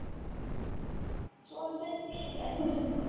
চলছে খুব ব্যাস্ততায়।